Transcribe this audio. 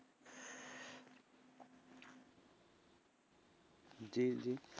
জি জি,